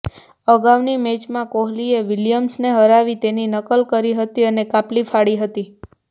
અગાઉની મેચમાં કોહલીએ વિલિયમ્સને હરાવી તેની નકલ કરી હતી અને કાપલી ફાડી હતી